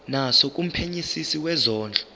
naso kumphenyisisi wezondlo